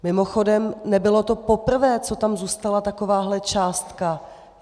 Mimochodem, nebylo to poprvé, co tam zůstala takováhle částka.